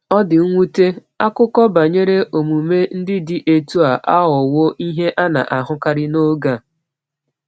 O di nwute, akụkọ banyere omume ndị dị otú a aghọwo ihe a na-ahụkarị n’oge anyị.